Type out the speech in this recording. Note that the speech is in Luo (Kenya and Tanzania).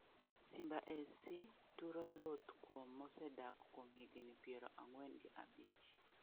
Simba SC turo oluth kuon mosedak kuom higni piero ang'wen gi abich?